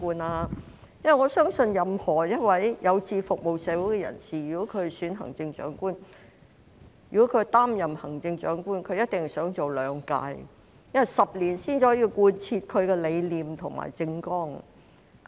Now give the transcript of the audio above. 我相信任何一位有志服務社會的人士，如果擔任了行政長官，便一定想連任，因為10年才可以貫徹其理念及政綱。